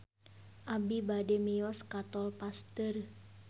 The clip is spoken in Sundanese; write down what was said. Abi bade mios ka Tol Pasteur